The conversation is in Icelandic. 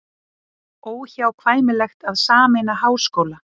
Óhjákvæmilegt að sameina háskóla